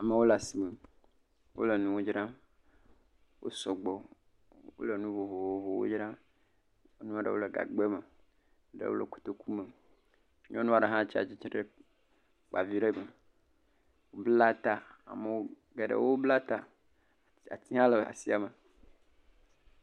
Amewo le asime wole nuwo dzram wo sugbɔ, wole nu vovovowo dzram, enua ɖewo le gbagbɛ me, eɖewo le kotoku me, nyɔnua ɖe hã tsi atsitre ɖe kpa vi ɖe me, bla ta, amewo…, ɖegewo bla ta yihã le asiame.